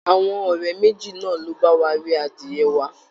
Àwọn ọ̀rẹ́ méjì náà ló bá wá rí adìyẹ wa